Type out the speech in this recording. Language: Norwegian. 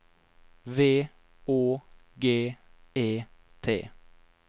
V Å G E T